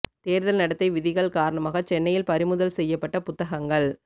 தேர்தல் நடத்தை விதிகள் காரணமாக சென்னையில் பறிமுதல் செய்யப்பட்ட புத்தகங்கள்